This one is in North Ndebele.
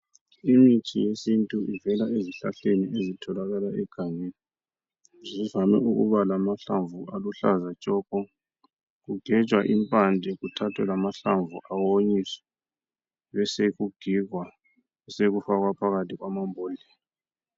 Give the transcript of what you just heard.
Imithi yesintu ivela ezihlahleni ezitholakala egangeni, zivame ukuba lamahlamvu aluhlaza tshoko, kugejwa impande kuthathwe lamahlamvu awonyiswe besekugigwa sekufakwa phakathi kwamambodlela.